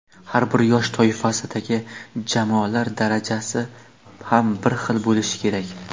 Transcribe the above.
Har bir yosh toifasidagi jamoalar darajasi ham bir xil bo‘lishi kerak.